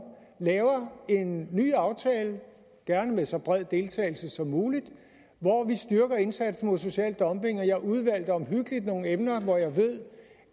laver en ny aftale gerne med så bred deltagelse som muligt hvor vi styrker indsatsen mod social dumping og jeg udvalgte omhyggeligt nogle emner hvor jeg ved